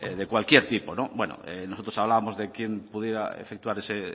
de cualquier tipo nosotros hablábamos de quién pudiera efectuar ese